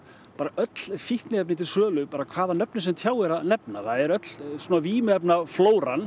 öll fíkniefni til sölu bara hvaða nafni sem tjáir að nefna það er öll vímuefnaflóran